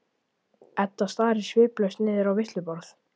Edda starir sviplaus niður á veisluborð.